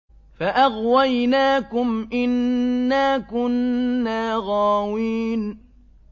فَأَغْوَيْنَاكُمْ إِنَّا كُنَّا غَاوِينَ